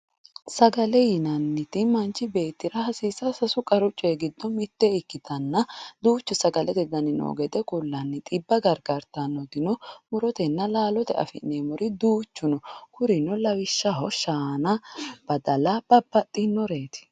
Sagale yinaniti manchi betira hasisawo sasu qarru coyi gido mitte ikitanna duchu sagalete dani no gede kulanni xibba garigartanoti murotenina lalotenni afinamori duchu no kurino lawishaho shana badalla babaxinoretu